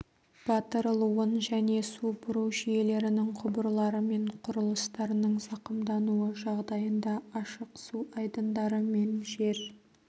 батырылуын және су бұру жүйелерінің құбырлары мен құрылыстарының зақымдануы жағдайында ашық су айдындары мен жер